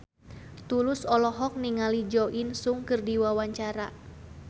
Tulus olohok ningali Jo In Sung keur diwawancara